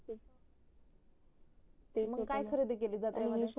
ते मग काय खरेदी केली